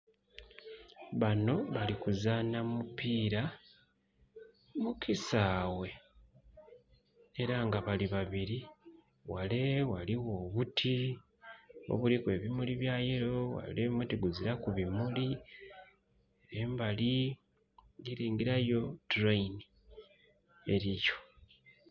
Bano bali kuzaana mupiira mu kisaawe era nga bali babiri. Ghale ghaligho obuti obuliku ebimuli bya yelo, ghale omuti guziraku bimuli. Embali ndhi lengera yo tuleyini eliyo.